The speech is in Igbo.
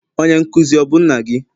Onye nkuzi ọ bụ nna gị?